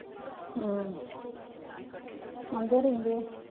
ਹਮ ਮੁੰਡੇ ਰਹਿੰਦੇ ਆ।